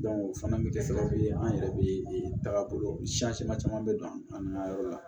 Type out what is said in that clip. o fana bɛ kɛ sababu ye an yɛrɛ bɛ taga bolo siyan caman bɛ don an na yɔrɔ la